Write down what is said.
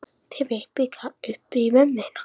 En svo hitti ég einn í fyrra.